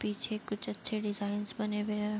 पीछे कुछ अच्छे डिज़ाइनस बने हुए हैं।